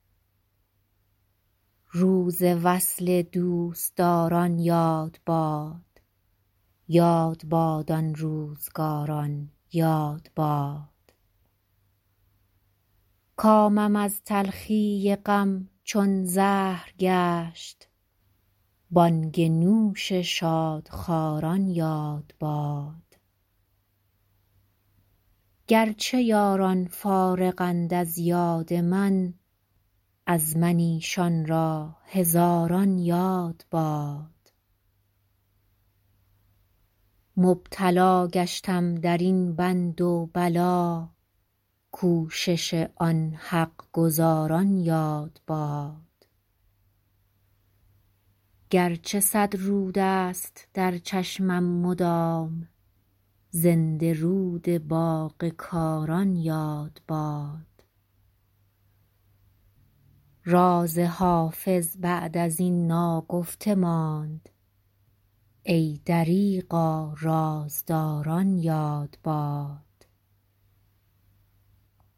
روز وصل دوستداران یاد باد یاد باد آن روزگاران یاد باد کامم از تلخی غم چون زهر گشت بانگ نوش شادخواران یاد باد گر چه یاران فارغند از یاد من از من ایشان را هزاران یاد باد مبتلا گشتم در این بند و بلا کوشش آن حق گزاران یاد باد گر چه صد رود است در چشمم مدام زنده رود باغ کاران یاد باد راز حافظ بعد از این ناگفته ماند ای دریغا رازداران یاد باد